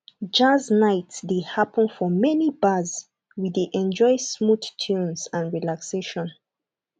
jazz night dey happen for many bars we dey enjoy smooth tunes and relaxation